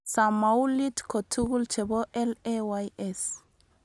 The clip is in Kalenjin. Samoulit kotugul chebo LAYS